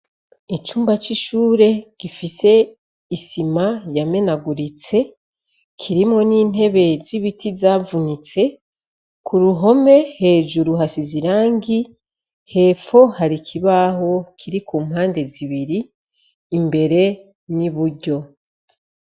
Icumba c'ishure gifise isima yamenaguritse, kirimwo n'intebe z'ibiti zavunitse ; ku ruhome hejuru hasize irangi; hepfo hari kibaho kiri ku mpande zibiri: imbere n'iburyo.